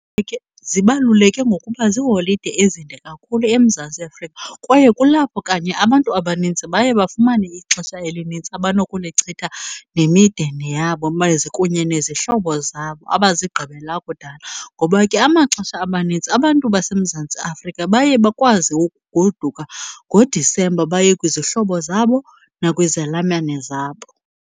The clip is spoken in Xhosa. Zibaluleke ngokuba ziiholide ezinde kakhulu eMzantsi Afrika, kwaye kulapho kanye abantu abanintsi baye bafumane ixesha elinintsi abanokulichitha nemindeni yabo kunye nezihlobo zabo abazigqibela kudala. Ngoba ke amaxesha amanintsi abantu baseMzantsi Afrika baye bakwazi ukugoduka ngoDisemba baye kwizihlobo zabo nakwizalamane zabo.